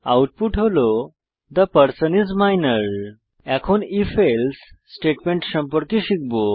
output হল the person is minor এখন ifএলসে স্টেটমেন্ট সম্পর্কে শিখব